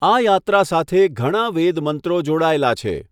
આ યાત્રા સાથે ઘણા વેદ મંત્રો જોડાયેલા છે.